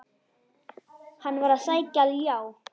Hann var að sækja ljá.